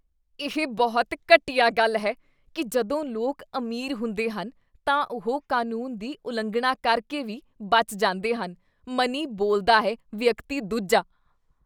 ਇਹ ਬਹੁਤ ਘਟੀਆ ਗੱਲ ਹੈ ਕੀ ਜਦੋਂ ਲੋਕ ਅਮੀਰ ਹੁੰਦੇ ਹਨ ਤਾਂ ਉਹ ਕਾਨੂੰਨ ਦੀ ਉਲੰਘਣਾ ਕਰਕੇ ਵੀ ਬਚ ਜਾਂਦੇ ਹਨ ਮਨੀ ਬੋਲਦਾ ਹੈ! ਵਿਅਕਤੀ ਦੂਜਾ